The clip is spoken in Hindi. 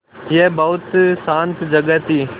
यह बहुत शान्त जगह थी